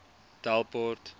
delport